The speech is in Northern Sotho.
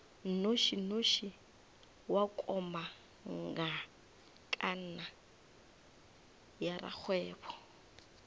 nnošinoši wa komangkanna ya rakgwebo